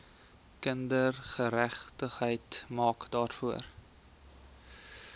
kindergeregtigheid maak daarvoor